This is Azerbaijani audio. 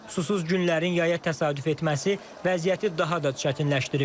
Susuz günlərin yaya təsadüf etməsi vəziyyəti daha da çətinləşdirib.